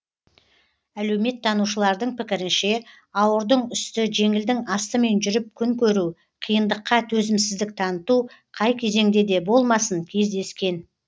әлеуметтанушылардың пікірінше ауырдың үсті жеңілдің астымен жүріп күн көру қиындыққа төзімсіздік таныту қай кезеңде де болмасын кездескен